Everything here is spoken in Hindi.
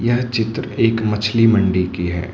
यह चित्र एक मछली मंडी की है।